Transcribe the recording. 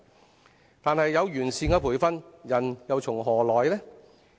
可是，即使有完善的培訓，人又從何來？